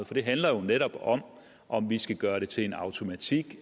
for det handler jo netop om om vi skal gøre det til en automatik